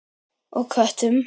Og köttum.